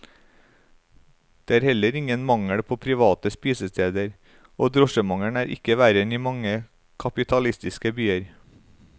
Det er heller ingen mangel på private spisesteder, og drosjemangelen er ikke verre enn i mange kapitalistiske byer.